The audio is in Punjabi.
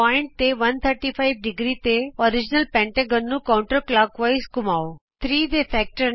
ਬਿੰਦੂ ਤੇ 135° ਤੇ ਮੂਲ ਪੰਜਭੁਜ ਨੂੰ ਕਾਂਉਟਰ ਕਲੋਕਵਾਈਜ਼ ਸੱਜੇ ਤੋਂ ਖੱਬੇ ਘੁੰਮਾਉ